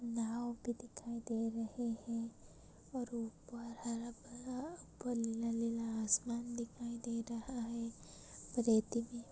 नाव भी दिखाई दे रहे है और ऊपर हरा भरा ऊपर नीला नीला आसमान दिखाई दे रहा है। रेती भी--